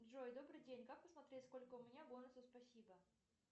джой добрый день как посмотреть сколько у меня бонусов спасибо